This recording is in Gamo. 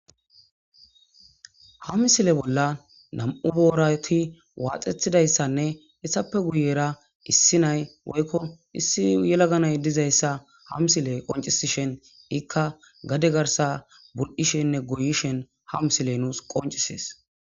Hamsile bolla nam7u boorati waaxethidayssanne essappe guyera issi nay woykko issi yelaganay dizayssa hamsile qoncisishen ikka gade garsa bur7ishenne goyishen hamsile nuus qoncisees.